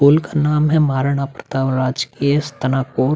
Pool का नाम है महाराणा प्रताप राजकीय स्नातकोर।